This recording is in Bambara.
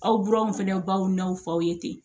Aw buranw fana baw n'a fɔ aw ye ten